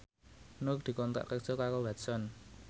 Nur dikontrak kerja karo Watson